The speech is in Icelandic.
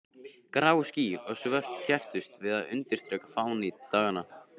Grá ský og svört kepptust við að undirstrika fánýti daganna.